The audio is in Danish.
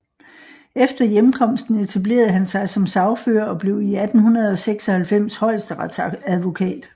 Efter hjemkomsten etablerede han sig som sagfører og blev 1896 højesteretsadvokat